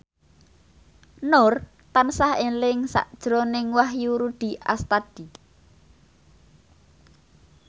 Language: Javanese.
Nur tansah eling sakjroning Wahyu Rudi Astadi